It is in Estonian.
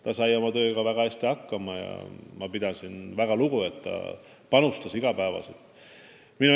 Ta sai oma tööga väga hästi hakkama ja ma pidasin tast väga lugu, et ta suutis iga päev oma panuse anda.